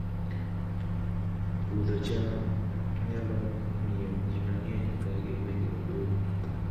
Puodho cham nyalo miyo ji mang'eny odag e gwenge maboyo